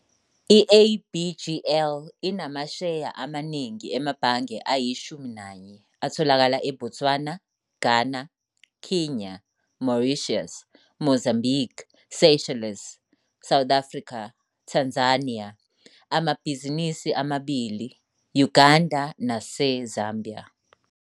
I-ABGL inamasheya amaningi emabhange ayi-11 atholakala eBotswana, Ghana, Kenya, Mauritius, Mozambique, Seychelles, South Africa, Tanzania, amabhizinisi amabili, Uganda naseZambia.